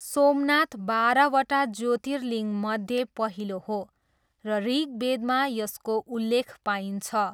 सोमनाथ बाह्रवटा ज्योतिर्लिङ्गमध्ये पहिलो हो, र ऋग्वेदमा यसको उल्लेख पाइन्छ।